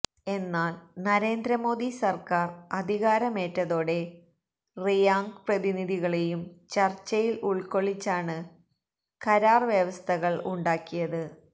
എന്നാല് നരേന്ദ്രമോദി സർക്കാർ അധികാരമേറ്റതോടെ റിയാംഗ് പ്രതിനിധികളേയും ചർച്ചയിൽ ഉൾക്കൊള്ളിച്ചാണ് കരാർ വ്യവസ്ഥകൾ ഉണ്ടാക്കിയത്